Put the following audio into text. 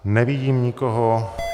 Nevidím nikoho.